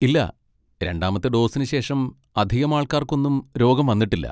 ഇല്ല, രണ്ടാമത്തെ ഡോസിന് ശേഷം അധികമാൾക്കാർക്കൊന്നും രോഗം വന്നിട്ടില്ല.